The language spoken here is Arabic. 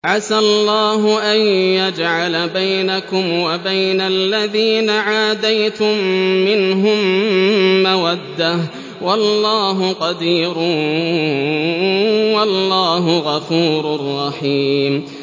۞ عَسَى اللَّهُ أَن يَجْعَلَ بَيْنَكُمْ وَبَيْنَ الَّذِينَ عَادَيْتُم مِّنْهُم مَّوَدَّةً ۚ وَاللَّهُ قَدِيرٌ ۚ وَاللَّهُ غَفُورٌ رَّحِيمٌ